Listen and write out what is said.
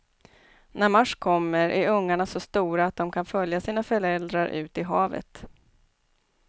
När mars kommer är ungarna så stora, att de kan följa sina föräldrar ut i havet.